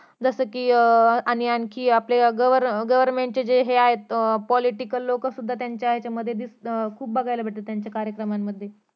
जसं कि अं आणि आणखी आपल्यला cover government जे आहेत political लोक सुद्धा त्यांच्या याच्यामध्ये दिस खुप बघायला भेटतात त्यांच्या कार्यक्रमामध्ये